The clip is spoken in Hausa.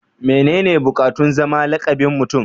mene ne bukatun zama lakabin Mutum